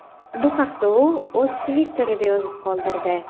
Bu haqda u o‘z Twitter’ida yozib qoldirdi.